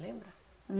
Lembra? Hum